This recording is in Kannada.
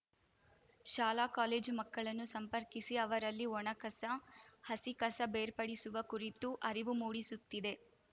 ಶಾಲಾ ಕಾಲೇಜು ಮಕ್ಕಳನ್ನು ಸಂಪರ್ಕಿಸಿ ಅವರಲ್ಲಿ ಒಣ ಕಸ ಹಸಿ ಕಸ ಬೇರ್ಪಡಿಸುವ ಕುರಿತು ಅರಿವು ಮೂಡಿಸುತ್ತಿದೆ